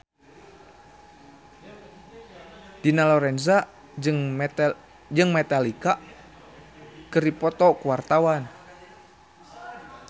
Dina Lorenza jeung Metallica keur dipoto ku wartawan